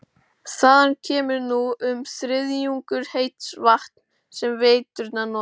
Þaðan kemur nú um þriðjungur heits vatns sem veiturnar nota.